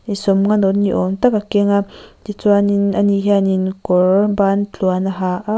sawmnga note ni awm tak a keng a tichuanin ani hianin kawr ban tluang a ha a.